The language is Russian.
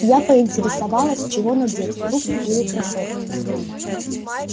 я поинтересовалась чего надевать туфли или кроссовки